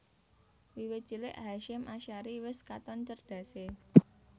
Wiwit cilik Hasyim Asy ari wis katon cerdasé